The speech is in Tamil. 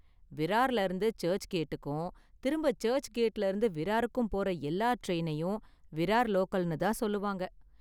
விரார்ல இருந்து சர்ச் கேட்டுக்கும், திரும்ப சர்ச் கேட்ல இருந்து விராருகும் போற எல்லா டிரைனையும் விரார் லோக்கல்னு தான் சொல்லுவாங்க.